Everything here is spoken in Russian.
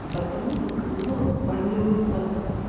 и потому вокруг него формируется